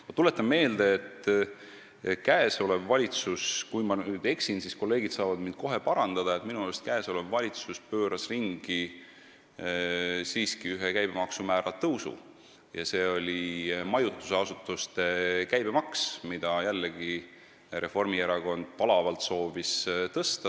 Ma tuletan meelde, et praegune valitsus – kui ma nüüd eksin, siis kolleegid saavad mind kohe parandada – pööras siiski ringi ühe käibemaksu, nimelt majutusasutuste käibemaksu määra tõusu, mida jällegi Reformierakond palavalt soovis.